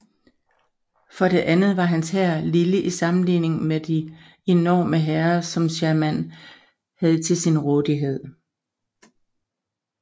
For det andet var hans hær lille i sammenligning med de enorme hære som Sherman havde til sin rådighed